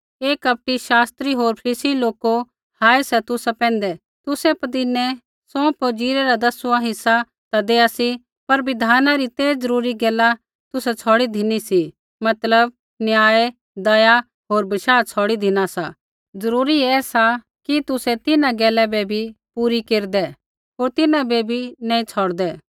हे कपटी शास्त्रिओ होर फरीसी लोको हाय सा तुसा पैंधै तुसै पदीनै सौंफ होर ज़ीरै रा दसवाँ हिस्सा ता देआ सी पर बिधाना री ते ज़रूरी गैला तुसै छ़ौड़ी धिनी सी मतलब न्याय दया होर बशाह छौड़ी धिना सा ज़रूरी ऐसा कि तुसै तिन्हां गैला बै भी पूरी केरदै होर तिन्हां बै भी नैंई छ़ौड़दै